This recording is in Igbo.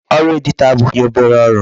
Ọrụ editor abụghị obere ọrụ.